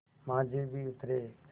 माँझी भी उतरे